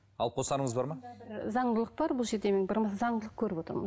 алып қосарыңыз бар ма заңдылық бар бұл жерде мен бір заңдылық көріп отырмын